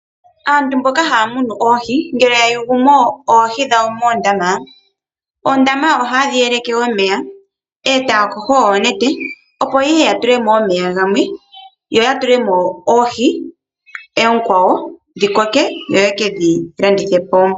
Aantu mboka haya munu oohi ngele yayugumo oohi dhawo moondama, oondama ohayedhi yeleke omeya etaya yogo oonete opo yeye yatulemo omeya gamwe yo ya tulemo oohi oonkwawo dhikoke yo yekedhi landithepo .